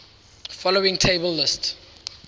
following table lists